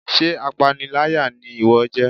sé apáníláyá ni iwọ jẹ?